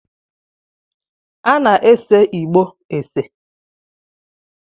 A na-ese igbo ese